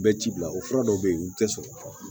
Bɛɛ ci bila o fura dɔw bɛ yen u tɛ sɔrɔ